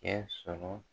Kɛ sɔrɔ